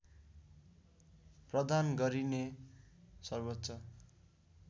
प्रदान गरिने सर्वोच्च